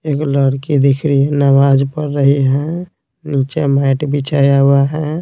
एक लड़की दिख रही है नमाज पढ़ रही है नीचे मैट बिछाया हुआ है।